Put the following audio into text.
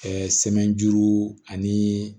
sɛmɛnu ani